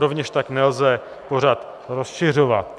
Rovněž tak nelze pořad rozšiřovat.